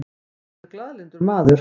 Hann er glaðlyndur maður.